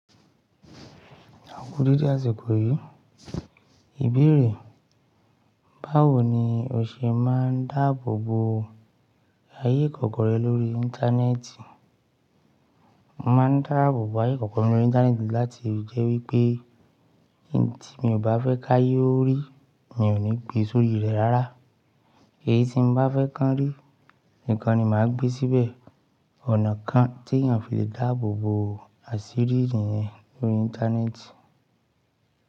Aku déédé àsìkò yìí, ìbéèrè, báwo ni o ṣe máa ń dáàbò bo ayé ìkọ̀kọ̀ rẹ lórí Íńtánẹ́ẹ̀tì? Mo máa ń dáàbò bo ayé ìkọ̀kọ̀ mi lórí Íńtánẹ́ẹ̀tì láti jẹ́ wípé ohun tí mi ò bá fẹ́ ká yó rí, mi ò ní gbé sórí rẹ̀ rárá. Eyí tí m bá fẹ́ kán rí nìkan ni màá gbé síbẹ̀. Ọ̀nà kan tí èèyàn fi le dáàbò bo àṣírí rẹ̀ lórí Íńtánẹ́ẹ̀tì.